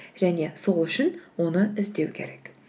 және сол үшін оны іздеу керек